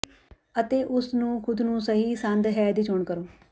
ਅਤੇ ਉਸ ਨੂੰ ਖੁਦ ਨੂੰ ਸਹੀ ਸੰਦ ਹੈ ਦੀ ਚੋਣ ਕਰੋ